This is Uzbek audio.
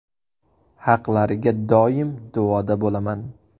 Haqlariga doim duoda bo‘laman.